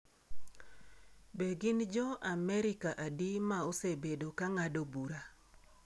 Be gin Jo-Amerika adi ma osebedo ka ng’ado bura?